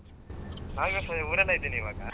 ನಾವ್ ಈ ವರ್ಷ ಊರಲ್ಲೇ ಇದೀನಿ ಇವಾಗ